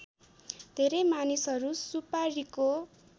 धेरै मानिसहरू सुपारीको